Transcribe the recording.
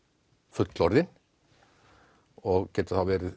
fullorðinn og geta þá verið